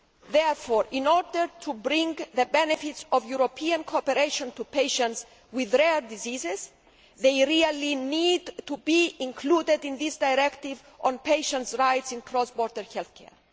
Therefore, in order to bring the benefits of European cooperation to patients with rare diseases, they really need to be included in this directive on patients' rights in cross border health care.